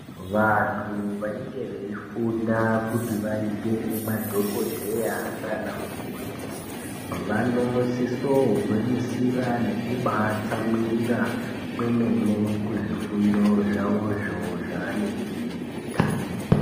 Vantu vanenge veifunda kuti vaite madhokodheya nanamukoti vanosisa gwinyisira nekubaa tsamwirira kwemene kuzvifundo zvavo zvo zvavanenge veyiita.